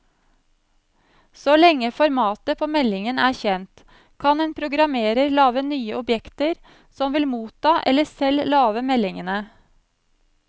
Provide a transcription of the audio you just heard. Så lenge formatet på meldingen er kjent, kan en programmerer lage nye objekter som vil motta eller selv lage meldingene.